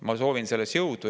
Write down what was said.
Ma soovin selleks jõudu.